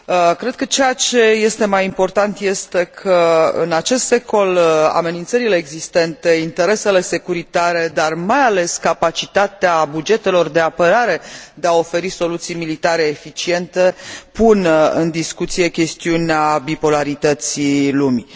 Cred că ceea ce este mai important este că, în acest secol, amenințările existente, interesele securitare, dar mai ales capacitatea bugetelor de apărare de a oferi soluții militare eficiente pun în discuție chestiunea bipolarității lumii.